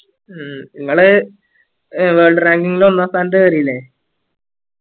ഉം ഇങ്ങള് would ranking ൽ ഒന്നാം സ്ഥാനത്ത്‌ കേറിയല്ലേ